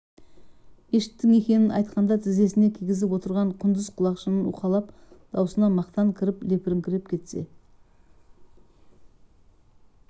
мешіттің екенін айтқанда тізесіне кигізіп отырған құндыз құлақшынын уқалап дауысына мақтан кіріп лепріңкіреп кетсе